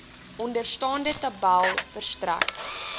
onderstaande tabel verstrek